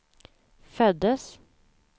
föddes